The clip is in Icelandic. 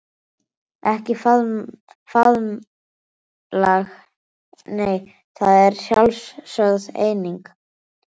Ekki faðmlag nei, það er sjálfsögð eining.